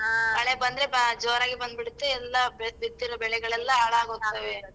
ಆ ಮಳೆ ಬಂದ್ರೆ ಬಾಳ್ ಜೋರಾಗಿ ಬಂದ್ಬಿಡತ್ತೆ ಎಲ್ಲಾ ಬಿತ್ತಿರೋ ಬೆಳೆಗಳೆಲ್ಲ ಹಾಳಾಗ್ಹೋಗ್ತವೆ.